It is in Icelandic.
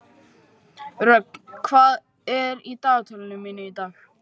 Rögn, hvað er í dagatalinu mínu í dag?